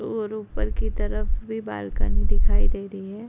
और ऊपर की तरफ भी बालकनी दिखाई दे रही है।